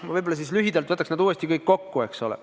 Ma võib-olla lühidalt võtan uuesti kõik kokku.